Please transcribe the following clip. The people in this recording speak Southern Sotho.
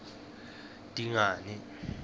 dingane